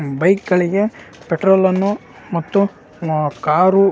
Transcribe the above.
bike ಗಳಿಗೆ petrol ನ್ನು ಮತ್ತು ಕಾರು --